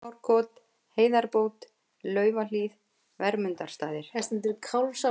Kálfsárkot, Heiðarbót, Laufahlíð, Vermundarstaðir